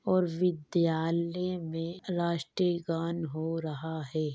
और विद्यालय में राष्ट्रीय गान हो रहा है।